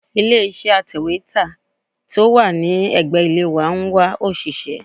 Ilé iṣẹ́ atẹ̀wétà tí ó wà ní ẹ̀gbẹ́ ilé wa ń wá òṣìṣẹ́.